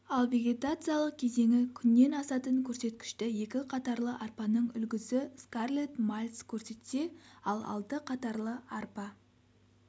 ал вегетациялық кезеңі күннен асатын көрсеткішті екі қатарлы арпаның үлгісі скарлетт мальц көрсетсе ал алты қатарлы арпа